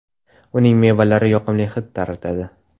Uning mevalari yoqimli hid taratadi.